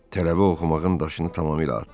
Tələbə oxumağın daşını tamamilə atdı.